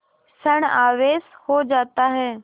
ॠण आवेश हो जाता है